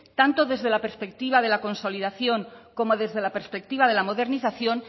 tanto desde la perspectiva de la consolidación como desde la perspectiva de la modernización